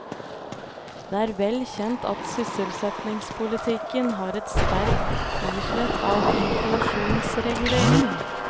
Det er vel kjent at sysselsettingspolitikken har et sterkt islett av inflasjonsregulering.